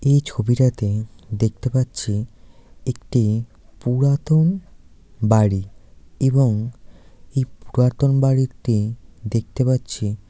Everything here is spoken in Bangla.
এই ছবিটাতে দেখতে পাচ্ছি একটি পুরাতন বাড়ি এবং এই পুরাতন বাড়িতে দেখতে পাচ্ছি--